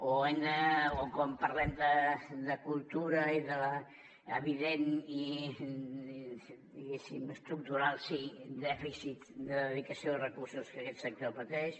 o quan parlem de cultura i d’evident diguéssim i estructural sí dèficit de dedicació de recursos que aquest sector pateix